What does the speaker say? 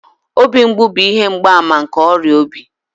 Obi mgbu bụ ihe mgbaàmà nke ọrịa obi